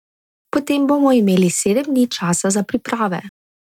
Potem bomo imeli sedem dni časa za priprave.